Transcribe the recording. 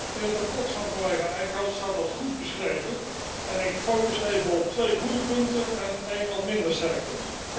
In het verslag van collega Eickhout staat dat goed beschreven en ik focus even op twee goede punten en een wat minder sterk punt.